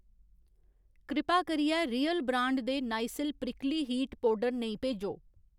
कृपा करियै real brand दे नाइसिल प्रिकली हीट पौडर नेईं भेजो।